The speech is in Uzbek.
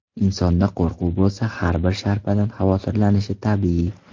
Insonda qo‘rquv bo‘lsa har bir sharpadan xavotirlanishi tabiiy.